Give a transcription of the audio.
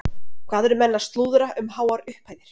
Hvað eru menn að slúðra um háar upphæðir?